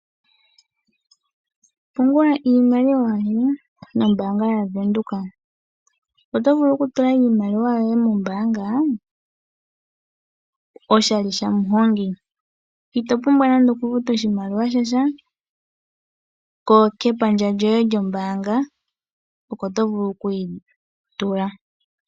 Pungula iimaliwa yoye nombaanga yaVenduka. Oto vulu oku tula iimaliwa yoye mombaanga oshali shamuhongi, ito pumbwa oku futa oshimaliwa shasha, kepandja lyoye lyombaanga oko to vulu oku yi tula.